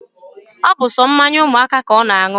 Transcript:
Obu so mmanya umuaka ka o na-aṅụ